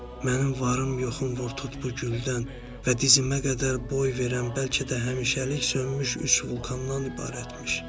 Mənim varım, yoxum vur tut bu güldən və dizimə qədər boy verən, bəlkə də həmişəlik sönmüş üç vulkandan ibarət imiş.